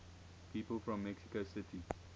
people from mexico city